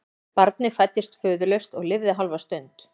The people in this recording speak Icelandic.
Barnið fæddist föðurlaust og lifði hálfa stund.